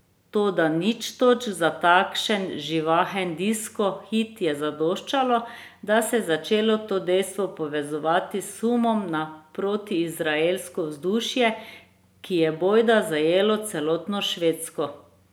Toda nič točk za takšen živahen disko hit je zadoščalo, da se je začelo to dejstvo povezovati s sumom na protiizraelsko vzdušje, ki je bojda zajelo celotno Švedsko.